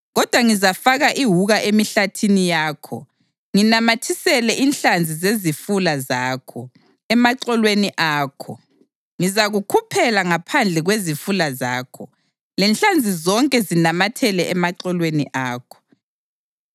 Kodwa ngizafaka iwuka emihlathini yakho nginamathisele inhlanzi zezifula zakho, emaxolweni akho. Ngizakukhuphela ngaphandle kwezifula zakho, lenhlanzi zonke zinamathele emaxolweni akho.